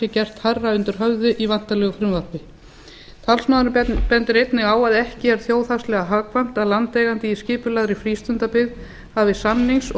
gert hærra undir höfði í væntanlegu frumvarpi talsmaðurinn bendir einnig á að ekki er þjóðhagslega hagkvæmt að landeigandi í skipulagðri frístundabyggð hafði samnings og